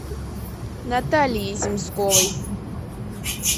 натальей земсковой